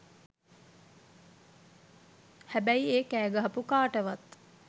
හැබැයි ඒ කෑගහපු කාටවත්